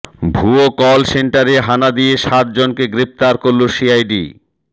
ভুয়ো কল সেন্টারে হানা দিয়ে সাতজনকে গ্রেফতার করল সিআইডি